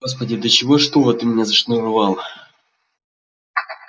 господи до чего ж туго ты меня зашнуровала